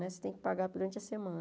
Né você tem que pagar durante a semana.